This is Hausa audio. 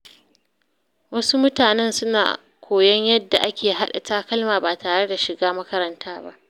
Wasu mutanen suna koyon yadda ake haɗa takalma ba tare da shiga makaranta ba.